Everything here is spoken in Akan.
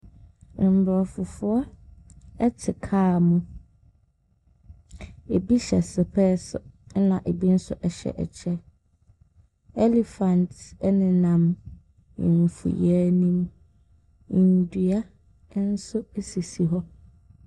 Mborɔfo foɔ ɛte kaa mu. Ebi hyɛ sepɛs ɛna ebi so ɛhyɛ ɛkyɛ. Ɛlifat ɛnenam mfuyɛ nim. Ndua nso esisi hɔ.